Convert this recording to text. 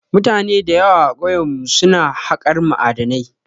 Mutane da yawa a kauyen mu su na haƙar ma'adinai